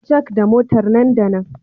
Jack da Motar nan da nan